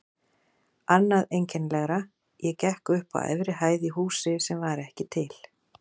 Annað einkennilegra: ég gekk upp á efri hæð í húsi sem var ekki til.